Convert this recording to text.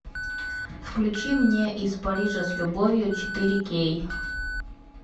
включи мне из парижа с любовью четыре кей